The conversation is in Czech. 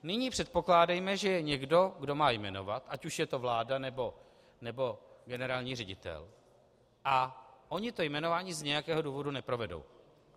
Nyní předpokládejme, že je někdo, kdo má jmenovat, ať už je to vláda, nebo generální ředitel, a oni to jmenování z nějakého důvodu neprovedou.